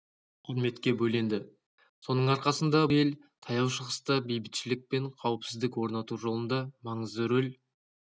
құрметке бөленді соның арқасында бұл ел таяу шығыста бейбітшілік пен қауіпсіздік орнату жолында маңызды рөл